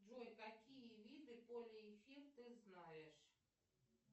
джой какие виды полиэфир ты знаешь